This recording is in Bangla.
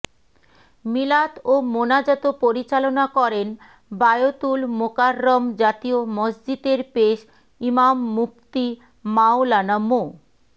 মিলাদ ও মোনাজাত পরিচালনা করেন বায়তুল মোকাররম জাতীয় মসজিদের পেশ ইমাম মুফতি মাওলানা মো